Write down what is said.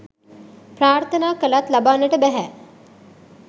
ප්‍රාර්ථනා කළත් ලබන්නට බැහැ.